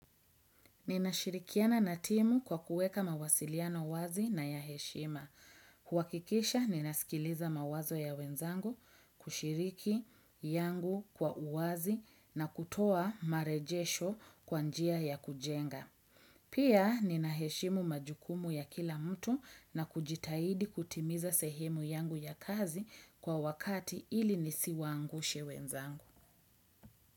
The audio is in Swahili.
Ninashirikiana na timu kwa kuweka mawasiliano wazi na ya heshima. Kuhakikisha, ninasikiliza mawazo ya wenzangu kushiriki yangu kwa uwazi na kutoa marejesho kwa njia ya kujenga. Pia, ninaheshimu majukumu ya kila mtu na kujitahidi kutimiza sehemu yangu ya kazi kwa wakati ili nisiwaangushe wenzangu.